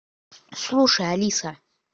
слушай алиса